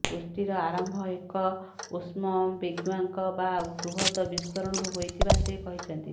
ସୃଷ୍ଟିର ଆରମ୍ଭ ଏକ ଉଷ୍ମ ବିଗ୍ବ୍ୟାଙ୍ଗ ବା ବୃହତ୍ ବିସ୍ଫୋରଣରୁ ହୋଇଥିବା ସେ କହିଛନ୍ତି